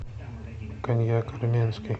коньяк армянский